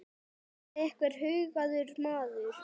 kallaði einhver hugaður maður.